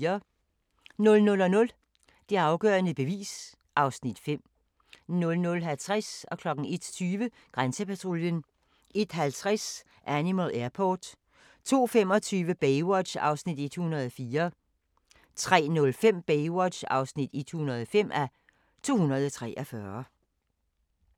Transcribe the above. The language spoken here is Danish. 00:00: Det afgørende bevis (Afs. 5) 00:50: Grænsepatruljen 01:20: Grænsepatruljen 01:50: Animal Airport 02:25: Baywatch (104:243) 03:05: Baywatch (105:243)